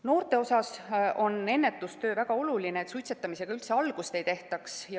Noorte puhul on ennetustöö väga oluline, et suitsetamisega üldse algust ei tehtaks.